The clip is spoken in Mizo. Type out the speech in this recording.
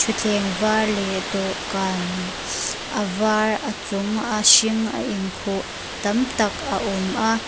thleng var leh dawhkan a var a chunga a hring a inkhu tam tak a awm a.